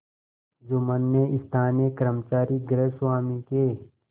जुम्मन ने स्थानीय कर्मचारीगृहस्वामीके